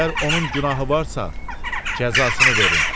Əgər onun günahı varsa, cəzasını verin.